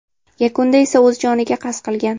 Yakunda esa o‘z joniga qasd qilgan.